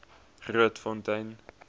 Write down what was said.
grootfontein